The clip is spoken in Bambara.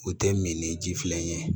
O tɛ min ni ji filɛ ye